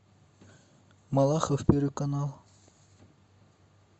малахов первый канал